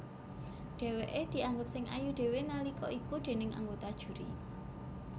Dhèwèké dianggep sing ayu dhéwé nalika iku déning anggota juri